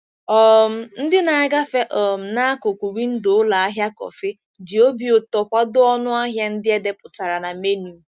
um Ndị na-agafe um n'akụkụ windo ụlọ ahịa kọfị ji obi ụtọ kwado ọnụ ahịa ndị e depụtara na menu.